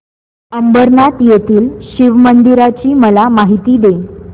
अंबरनाथ येथील शिवमंदिराची मला माहिती दे